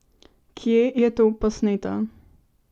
Kje je to posneto?